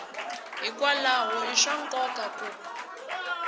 hikwalaho i swa nkoka ku